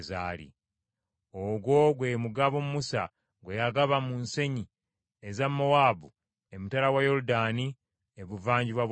Ogwo gwe mugabo Musa gwe yagaba mu nsenyi eza Mowaabu, emitala wa Yoludaani ebuvanjuba bwa Yeriko.